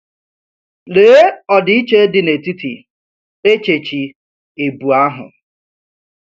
Lee òdị́ché dị n’etítì èchéchì èbù̄ àhụ̀!